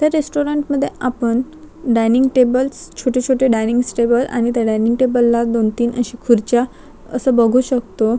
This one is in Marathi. त्या रेस्टोरंट मध्ये आपण डायनिंग टेबल्स छोटे छोटे डायनिंग्स टेबल आणि त्या डायनिंग टेबल ला दोन तीन अश्या खुर्च्या अस बघू शकतो.